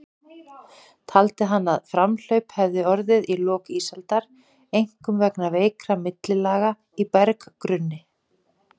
Taldi hann að framhlaup hefði orðið í lok ísaldar, einkum vegna veikra millilaga í berggrunni.